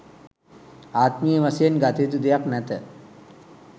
ආත්මීය වශයෙන් ගත යුතු දෙයක් නැත